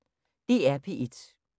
DR P1